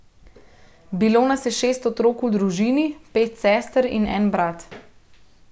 Bilo nas je šest otrok v družini, pet sester in en brat.